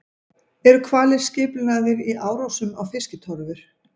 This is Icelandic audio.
Eru hvalir skipulagðir í árásum á fiskitorfur?